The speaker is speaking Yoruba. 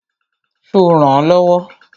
Ṣo rànán lọ́wọ́?